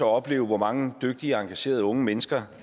opleve hvor mange dygtige engagerede unge mennesker